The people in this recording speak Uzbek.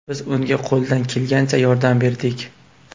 Biz unga qo‘ldan kelgancha yordam berdik.